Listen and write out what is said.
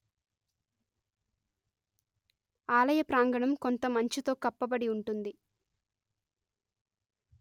ఆలయ ప్రాంగణం కొంత మంచుతో కప్పబడి ఉంటుంది